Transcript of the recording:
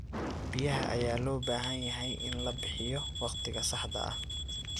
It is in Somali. Biyaha ayaa loo baahan yahay in la bixiyo wakhtiga saxda ah.